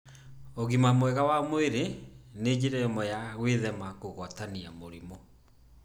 ũgima mwega wa mwĩrĩ nĩ njĩra ĩmwe ya gwĩthema kũgwatania mĩrimũ.